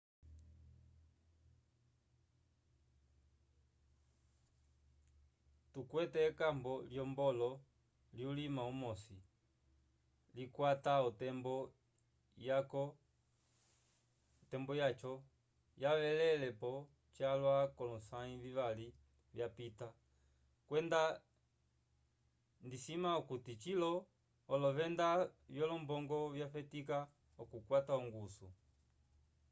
tukwete ekambo lyolombo lyulima umosi lyakwata otembo yaco yavelele-po calwa k’olosãyi vivali vyapita kwenda ndisima okuti cilo olovenda vyolombongo vyafetika okukwata ongusu.